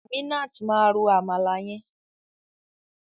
Aminat ma ro àmàlà yẹn.